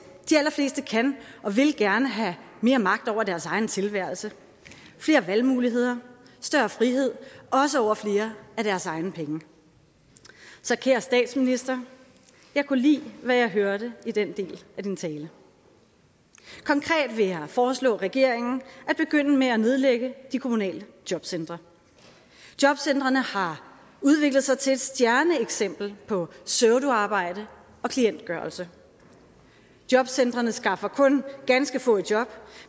de allerfleste kan og vil gerne have mere magt over deres egen tilværelse flere valgmuligheder større frihed også over flere af deres egne penge så kære statsminister jeg kunne lide hvad jeg hørte i den del af din tale konkret vil jeg foreslå regeringen at begynde med at nedlægge de kommunale jobcentre jobcentrene har udviklet sig til et stjerneeksempel på pseudoarbejde og klientgørelse jobcentrene skaffer kun ganske få i job